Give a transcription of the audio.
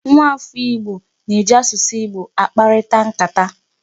Nwaafọ Igbo na-eji asụsụ Igbo akparịta nkata.